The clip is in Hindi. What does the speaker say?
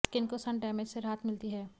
स्किन को सन डैमेज से राहत मिलती है